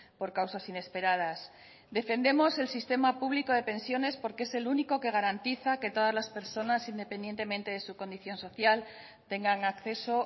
por causas inesperadas defendemos el sistema público de pensiones porque es el único que garantiza que todas las personas independientemente de su condición social tengan acceso